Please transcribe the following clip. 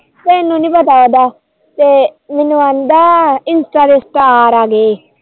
ਤੈਨੂੰ ਨੀ ਪਤਾ ਉਹਦਾ ਤੇ ਮੈਨੂੰ ਕਹਿੰਦਾ insta ਤੇ star ਆਗੇ